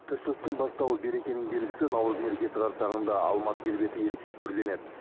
тіршіліктің бастауы берекенің белгісі наурыз мерекесі қарсаңында алматы келбеті ерекше түрленеді